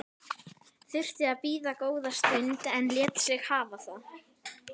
Þurfti að bíða góða stund en lét sig hafa það.